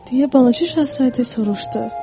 Deyə Balaca Şahzadə soruşdu.